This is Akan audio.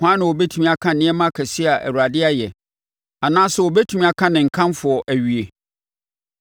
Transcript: Hwan na ɔbɛtumi aka nneɛma akɛseɛ a Awurade ayɛ? Anaasɛ ɔbɛtumi aka ne nkamfo awie?